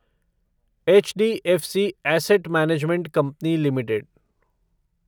HDFC asset management company limited